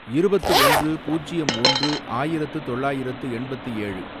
இருபத்து ஒன்று, பூஜ்யம் ஒன்று, ஆயிரத்து தொள்ளாயிரத்து எண்பத்து ஏழு